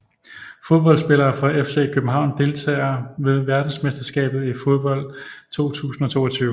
Fodboldspillere fra FC København Deltagere ved verdensmesterskabet i fodbold 2022